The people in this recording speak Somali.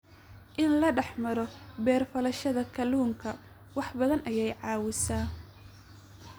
In la dhex maro beer-falashada kalluunka wax badan ayay caawisaa.